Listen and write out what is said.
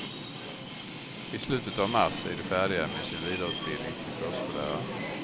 I slutet av mars är de färdiga med sin vidareutbildning till förskollärare.